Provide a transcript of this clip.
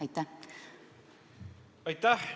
Aitäh!